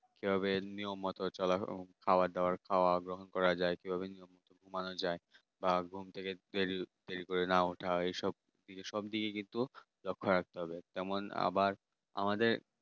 ঠিকভাবে নিয়ম মতন চলা খাওয়া দাওয়া করা গ্রহণ করা যায় কিভাবে নিয়ম মতো ঘুমানো যায় ঘুম থেকে উঠে ঠিক করে ওঠা না ওঠা এইসব দেখে কিন্তু লক্ষ্য রাখতে হবে। যেমন আবার আমাদের